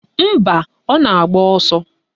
Mba, ọ na-agba ọsọ